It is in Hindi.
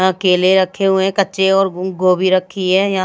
य केले रखे हुए हैं कच्चे और गुं गोभी रखी हैय --